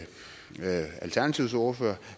alternativets ordfører